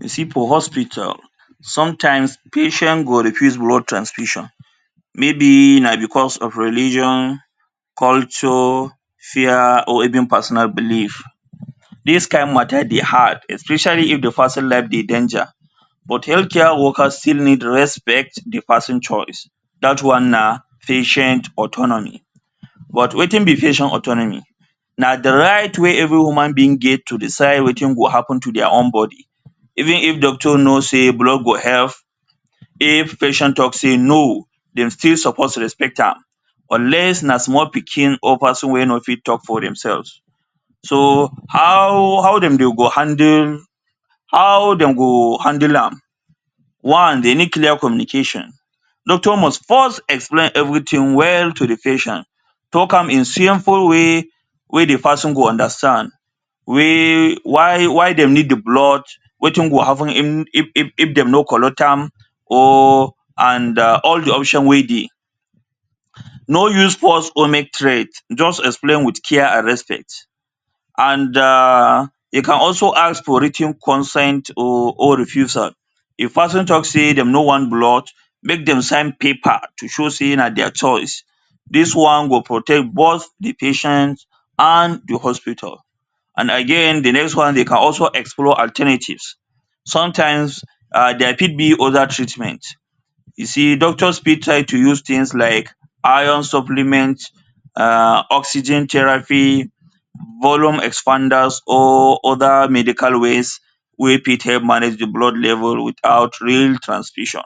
You see for hospital sometimes, patient go refuse blood transfusion maybe na because of religion, culture, fear or personal belief, tDis kind matter dey hard especially, if the person life dey danger but health care worker still need respect the person choice Dat one an patient autonomy, but wetin be patient autonomy, na the right wey every human being get to decide wetin go happen to their own body even if doctor know say blood go help if patient say NO! dem suppose respect am unless na small pikin or person wey nor fit talk for dem selves. So how how, dem go handle how dem go handle am, one dey need clear communication. Doctor must first explain everything well to patient talk am in simple way wey de person go understand wey why dem need de blood wetin happen if fi dem nor collect am or and all de option wey dey. nor use force or make threat just explain with respect and um you can also ask for writ ten consent or refusal. If person talk say dem nor want blood make dem sign paper to show say na their choice dis one go protect both de patient and hospital and again de next one you can also explore alternative sometimes there fit be other treatment. You see doctors fit try to use things like iron supplement um oxygen therapy volume expanders or other medical ways wey fit help manage de blood level without real transfusion,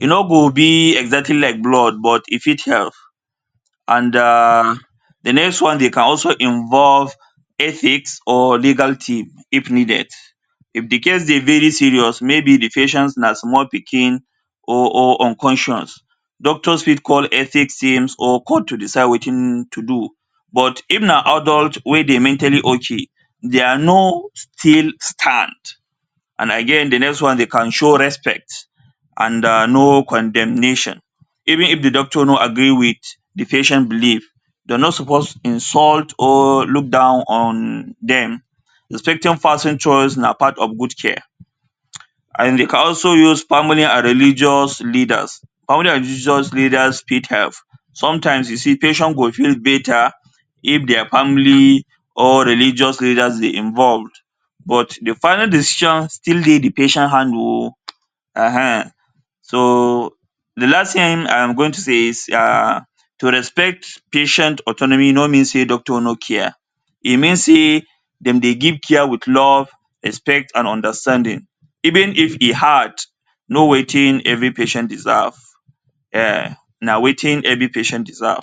e nor go be exactly like blood but e fit help and um de next one dey can also involve ethics or legal team if needed. If de case dey very serious, maybe de patient na small pikin or, or unconscious doctors fit call ethics team to come decide wetin to do but if an aldult wey dey mentally okay their No! still stand and again de next one dey can show respect and no condemnation even if de doctor nor agree with patient believe dem suppose insult or look down on dem respecting person choice na part of good care and dey also use family and religious leaders. Family and religious leaders help, sometimes you see patient go feel better if their family or religious leaders dey involved but de final decision still dey de patient hand oh um so, de last thing I am go to say is um to respect patient autonomy nor mean say doctor nor care e mean say dem dey give care with love, respect and understanding, even if e hard know wetin every patient deserve, um na wetin every patient deserve.